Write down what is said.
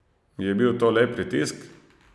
Je bil to le pritisk?